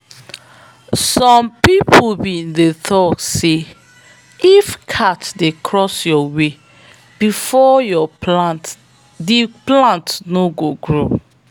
some people be talk say if cat dey cross your way before your plant di plant no go grow.